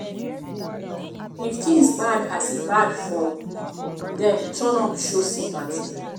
if things bad as e bad for them turn up show sympathy